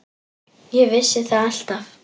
Ég vissi það alltaf.